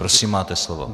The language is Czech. Prosím, máte slovo.